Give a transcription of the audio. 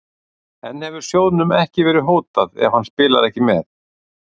En hefur sjóðnum verið hótað ef hann spilar ekki með?